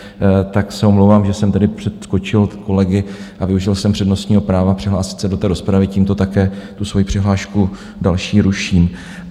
Tak se omlouvám, že jsem tedy přeskočil kolegy a využil jsem přednostního práva přihlásit se do té rozpravy, tímto také tu svoji přihlášku další ruším.